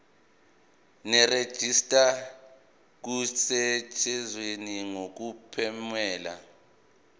nerejista kusetshenziswe ngokuphumelela